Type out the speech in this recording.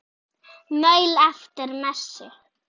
Maul eftir messu.